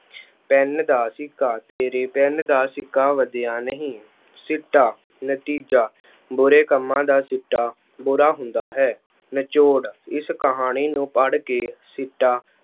Pen ਦਾ ਸਿੱਕਾ- ਤੇਰੇ ਪੈੱਨ ਦਾ ਸਿੱਕਾ ਵਧੀਆ ਨਹੀਂ। ਸਿੱਟਾ- ਨਤੀਜਾ- ਬੁਰੇ ਕੰਮਾਂ ਦਾ ਸਿੱਟਾ ਬੁਰਾ ਹੁੰਦਾ ਹੈ। ਨਿਚੋੜ - ਇਸ ਕਹਾਣੀ ਨੂੰ ਪੜ੍ਹ ਕੇ ਸਿੱਟਾ